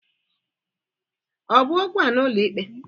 Ọ bụ okwu a n'ụlọikpe?